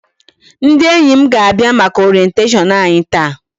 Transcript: Ndị enyi m ga-abịa maka Orientation anyị taa.